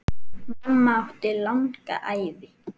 Mamma átti langa ævi.